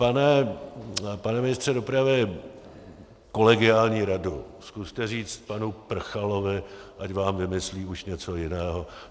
Pane ministře dopravy, kolegiální radu: Zkuste říct panu Prchalovi, ať vám vymyslí už něco jiného.